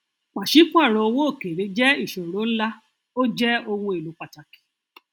pàṣípàrọ owó òkèèrè jẹ ìṣòro ńlá ó jẹ ohun èlò pàtàkì